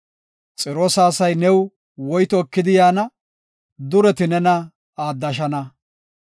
Xiroosa asay new woyto ekidi yaana; dureti nena aaddashana.